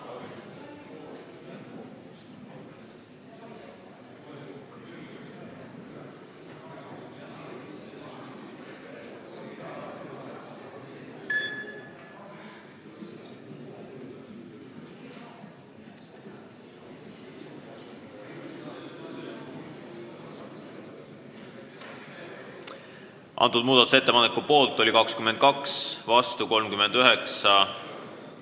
Hääletustulemused Muudatusettepaneku poolt oli 22 ja vastu 39 Riigikogu liiget.